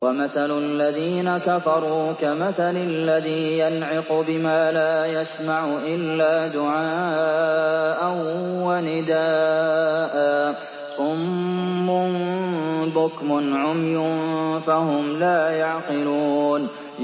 وَمَثَلُ الَّذِينَ كَفَرُوا كَمَثَلِ الَّذِي يَنْعِقُ بِمَا لَا يَسْمَعُ إِلَّا دُعَاءً وَنِدَاءً ۚ صُمٌّ بُكْمٌ عُمْيٌ فَهُمْ لَا يَعْقِلُونَ